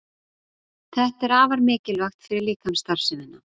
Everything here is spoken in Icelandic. Þetta er afar mikilvægt fyrir líkamsstarfsemina.